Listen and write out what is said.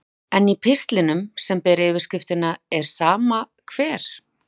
En í pistlinum, sem ber yfirskriftina Er sama hver?